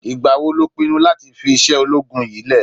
Ìgbà wo lo pinnu láti fi iṣẹ́ ológun yìí lẹ̀?